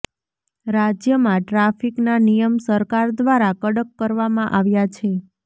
રાજ્યમાં ટ્રાફિકના નિયમ સરકાર દ્વારા કડક કરવામાં આવ્યા છે